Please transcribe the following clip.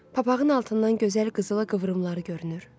Papağın altından gözəl qızılı qıvrımları görünür.